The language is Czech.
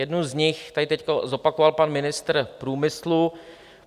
Jednu z nich tady teď zopakoval pan ministr průmyslu.